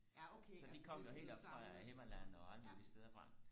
så de kom jo helt oppe fra himmerland og alle mulige steder fra